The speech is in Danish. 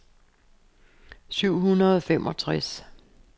syv hundrede og femogtres